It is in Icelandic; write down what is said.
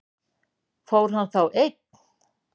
Fór hann þá einn?